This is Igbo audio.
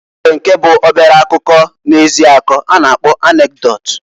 O nwere nke bụ obere akụkọ na-ezi akọ a na-kpọ anekdot.